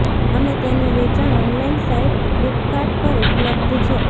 અને તેનું વેચાણ ઓનલાઈન સાઈટ ફ્લિપકાર્ટ પર ઉપલબ્ધ છે